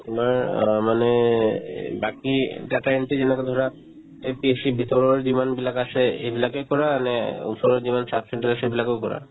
তোমাৰ অ মানে এই বাকি data entry যিবিলাক ধৰা এই APSC ৰ ভিতৰৰ যিমান বিলাক আছে এইবিলাকৰ পৰা আনে ওচৰত যিমান sub centre আছে সেইবিলাকৰ কৰা